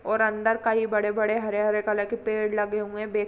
और अंदर कई बड़े-बड़े हरे-हरे कलर के पेड़ लगे हुए हैं --